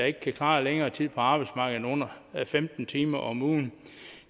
ikke kan klare længere tid på arbejdsmarkedet end under femten timer om ugen